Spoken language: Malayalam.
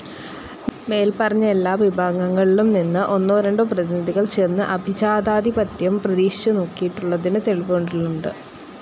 മേല്പറഞ്ഞ എല്ലാ വിഭാഗങ്ങളിലും നിന്ന് ഒന്നോ രണ്ടോ പ്രതിനിധികൾ ചേർന്ന് അഭിജാതാധിപത്യം പരീക്ഷിച്ചു നോക്കിയിട്ടുള്ളതിനും തെളിവുകളുണ്ട്.